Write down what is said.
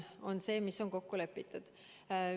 On see, mis on kokku lepitud.